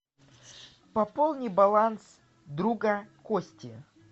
пополни баланс друга кости